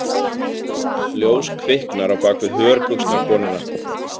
Ljós kviknar á bak við hörbuxnakonuna.